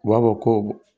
U b'a fɔ ko